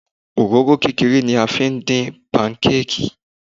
Òróró kékeré ni a fi ń dín pankéèkì.